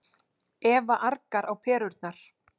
Eva argar á perurnar.